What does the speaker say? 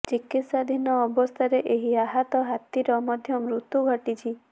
ଚିକିତ୍ସାଧୀନ ଅବସ୍ଥାରେ ଏହି ଆହତ ହାତୀର ମଧ୍ୟ ମୃତ୍ୟୁ ଘଟିଛି